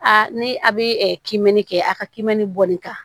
Aa ni a bɛ kimɛni kɛ a ka kiimɛni bɔli kan